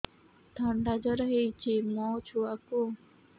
ଥଣ୍ଡା ଜର ହେଇଚି ମୋ ଛୁଆକୁ